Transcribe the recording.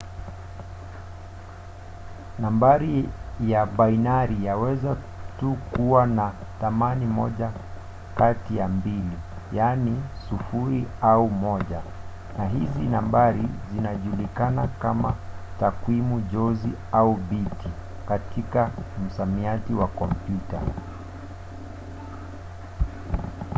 nambari ya bainari yaweza tu kuwa na thamani moja kati ya mbili yaani 0 au 1 na hizi nambari zinajulikana kama takwimu jozi au biti katika msamiati wa kompyuta